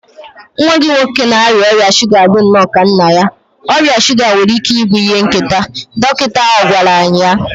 Nwa gị nwoke na-arịa ọrịa shuga dị nnọọ ka nna ya, ọrịa shuga nwere ike ịbụ ihe nketa, dọkịta ahụ gwara anyị.